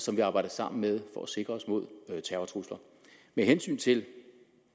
som vi arbejder sammen med for at sikre os mod terrortrusler med hensyn til